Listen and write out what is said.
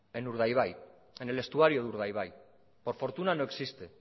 en urdaibai en el estuario de urdaibai por fortuna no existe